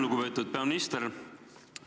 Lugupeetud peaminister!